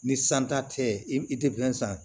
Ni san ta tɛ i tɛ san